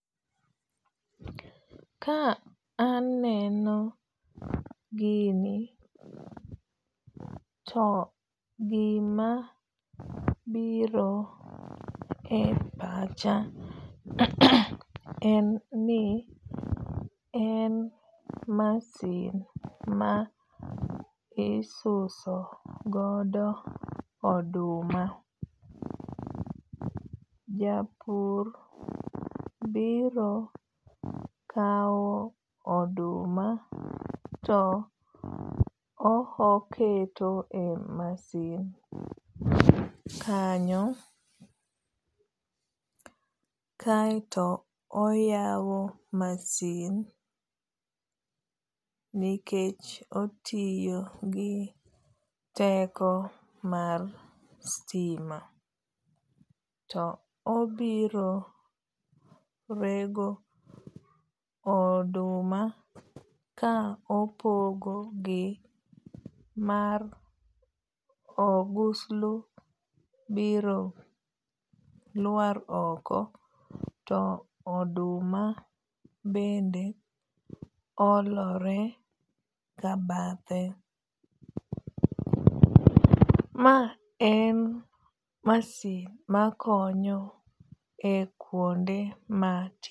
Ka aneno gini to gima biro e pacha en ni en masin ma isuso godo oduma. Japur biro kaw oduma to ohoketo e masin kanyo kaeto oyawo masin nikech otiyo gi teko mar sitima. To obiro rego oduma ka opogo gi mar oguslu biro lwar oko to oduma bende olore kabathe. Ma en masin makonyo e kwonde ma.